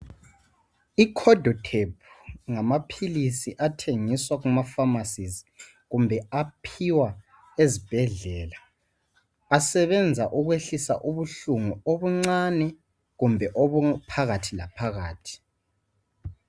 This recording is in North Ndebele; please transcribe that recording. Ikhodothabhu ngamaphilisi athengiswa emafamasi kumbe aphiwa ezibhedlela asebenza ukwehlisa ubuhlungu obuncane kumbe obuphakathilaphakathi.